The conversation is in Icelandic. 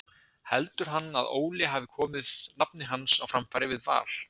Heldur hann að Óli hafi komið nafni hans á framfæri við Val?